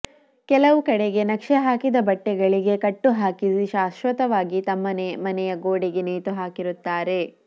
ಕೆಲವು ಕಡೆಗೆ ನಕ್ಷೆ ಹಾಕಿದ ಬಟ್ಟೆಗಳಿಗೆ ಕಟ್ಟು ಹಾಕಿಸಿ ಶಾಶ್ವತವಾಗಿ ತಮ್ಮ ಮನೆಯ ಗೋಡೆಗೆ ನೇತುಹಾಕಿರುತ್ತಾರೆ